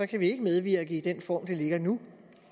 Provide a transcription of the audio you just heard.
kan vi ikke medvirke i den form det ligger i nu